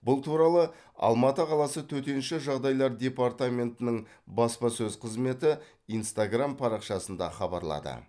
бұл туралы алматы қаласы төтенше жағдайлар департаментінің баспасөз қызметі инстаграм парақшасында хабарлады